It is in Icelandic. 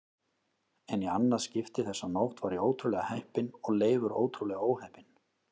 En í annað skipti þessa nótt var ég ótrúlega heppinn og Leifur ótrúlega óheppinn.